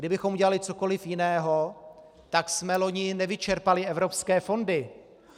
Kdybychom udělali cokoliv jiného, tak jsme loni nevyčerpali evropské fondy.